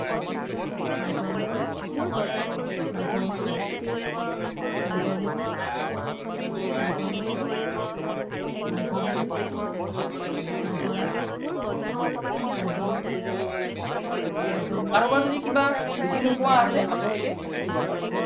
কাৰোবাৰ যদি কিবা বুজি নোপোৱা আছে, আপোনালোকে সুধিব পাৰে।